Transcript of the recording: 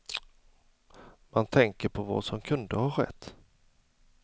Man tänker på vad som kunde ha skett.